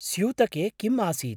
स्यूतके किम् आसीत्?